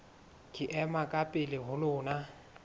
ke ema ka pela lona